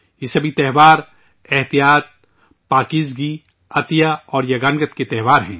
یہ سبھی تہوار تحمل، پاکیزگی، خیرات اور رواداری کے تہوار ہیں